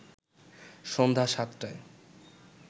সন্ধ্যা ৭টায়